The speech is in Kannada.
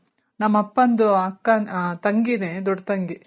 ನಮ್ ಅಪ್ಪಂದು ತಂಗಿನೆ ದೊಡ್ಡ್ ತಂಗಿ